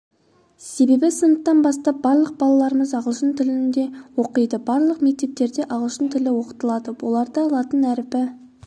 себебі сыныптан бастап барлық балаларымыз ағылшын тілінде оқиды барлық мектептерде ағылшын тілі оқытылады оларда латын әрпі